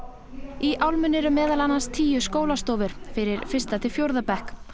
í álmunni eru meðal annars tíu skólastofur fyrir fyrsta til fjórða bekk